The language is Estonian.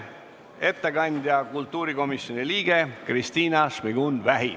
Ettekandja on kultuurikomisjoni liige Kristina Šmigun-Vähi.